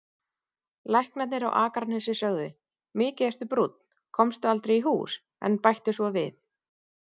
Læknarnir á Akranesi sögðu: Mikið ertu brúnn, komstu aldrei í hús, en bættu svo við